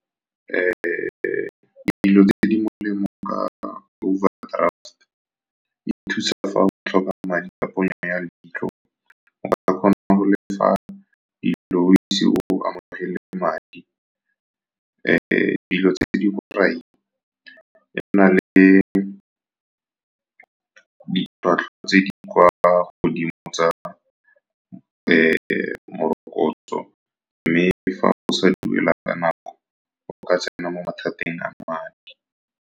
Dilo tse di molemo ka overdraft, e thusa fa o tlhoka madi ka ponyo ya leitlho. Ba kgona go le fa di o ise o amogele madi. Dilo tse di borai, e na le ditlhwatlhwa tse di kwa godimo tsa morokotso, mme fa go sa duela ka nako o ka tsena mo mathateng a madi.